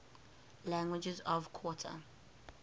languages of qatar